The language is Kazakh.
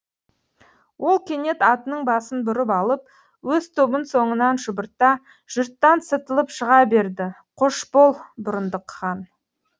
ол кенет атының басын бұрып алып өз тобын соңынан шұбырта жұрттан сытылып шыға берді қош бол бұрындық хан